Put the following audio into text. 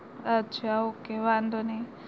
અચ્છા okay વાંધો નઈ